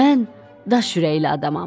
Mən daş ürəkli adamam.